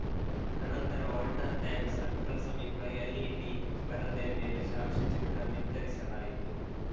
ಅನಂತರ water tank circle ಸಮೀಪ LED ಪರದೆಯ ಮೇಲೆ ಸಾಕ್ಷಿ ಚಿತ್ರ ಬಿತ್ತರಿಸಲಾಯಿತು